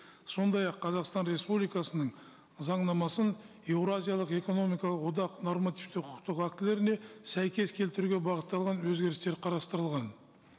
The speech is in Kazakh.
сондай ақ қазақстан республикасының заңнамасын еуразиялық экономикалық одақ нормативті құқықтық актілеріне сәйкес келтіруге бағытталған өзгерістер қарастырылған